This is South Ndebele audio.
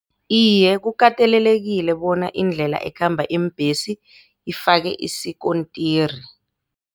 Iye, kukatelelekile bona indlela ekhamba iimbhesi ifakwe isikontiri.